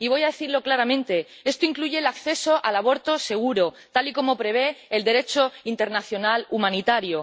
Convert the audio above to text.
Y voy a decirlo claramente esto incluye el acceso al aborto seguro, tal y como prevé el Derecho internacional humanitario.